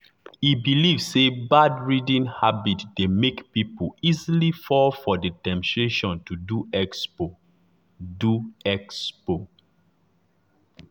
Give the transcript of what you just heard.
e believe say bad reading habit dey make people easily fall for the temptation to do expo. do expo.